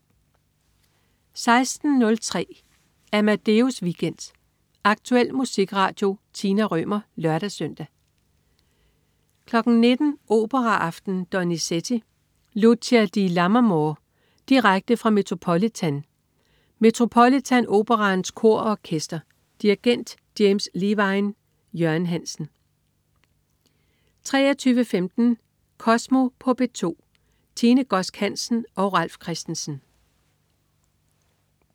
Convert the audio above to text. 16.03 Amadeus Weekend. Aktuel musikradio. Tina Rømer (lør-søn) 19.00 Operaaften. Donizetti: Lucia di Lammermoor. Direkte fra Metropolitan. Metropolitan Operaens Kor og Orkester. Dirigent: James Levine. Jørgen Hansen 23.15 Kosmo på P2. Tine Godsk Hansen og Ralf Christensen